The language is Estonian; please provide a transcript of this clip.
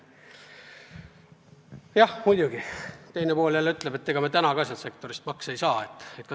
Jah, muidugi, teine pool jälle ütleb, et ega me ka praegu sealt sektorist makse ei saa.